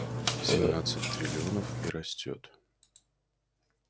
семнадцать триллионов и растёт